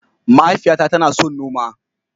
Mahaifiyata tana son noma.